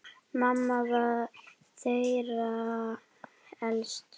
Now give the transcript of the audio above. Mamma var þeirra elst.